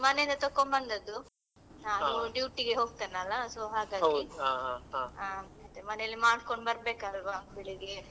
ಮನೆಯಿಂದ ತೆಕ್ಕೊಂಡು ಬಂದದ್ದು ನಾನು duty ಗೆ ಹೋಗ್ತೇನಲ್ಲ so ಹಾಗಾಗಿ ಮತ್ತೆ ಮನೆಯಲ್ಲಿ ಮಾಡ್ಕೊಂಡ್ ಬರ್ಬೇಕಲ್ವಾ ಬೆಳಿಗ್ಗೆ.